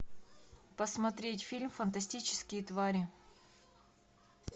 посмотреть фильм фантастические твари